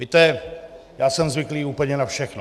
Víte, já jsem zvyklý úplně na všechno...